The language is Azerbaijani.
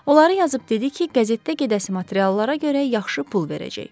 Oları yazıb dedi ki, qəzetdə gedəsi materiallara görə yaxşı pul verəcək.